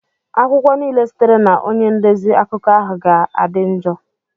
akwụkwọ niile sitere na onye ndezi akụkọ ahụ ga-adị njọ.